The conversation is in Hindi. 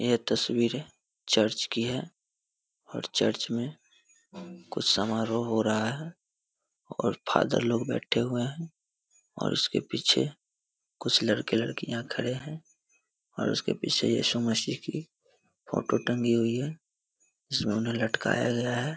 यह तस्वीरें चर्च की है और चर्च में कुछ समारोह हो रहा है और फादर लोग बैठे हुए हैं और उसके पीछे कुछ लड़के-लडकियाँ खड़े हैं और उसके पीछे इसु मसीह की फोटो टंगी हुई है जिसमें उन्हें लटकाया गया है।